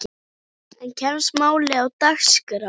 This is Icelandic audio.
En kemst málið á dagskrá?